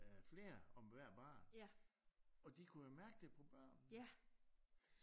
Øh flere om hvert barn og de kunne jo mærke det på børnene